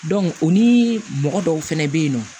o ni mɔgɔ dɔw fɛnɛ bɛ yen nɔ